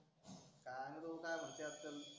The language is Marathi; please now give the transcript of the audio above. काय माहीत भाऊ काय म्हणते त्याला